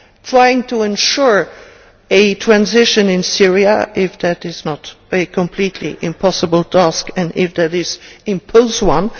trying to ensure a transition in Syria if that is not a completely impossible task, and, if it is, imposing one